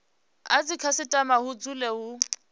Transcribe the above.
a dzikhasitama hu dzule hu